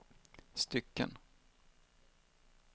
stycken